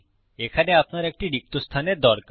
এখানে আপনার একটি রিক্ত স্থানের দরকার